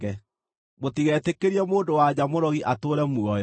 “Mũtigetĩkĩrie mũndũ-wa-nja mũrogi atũũre muoyo.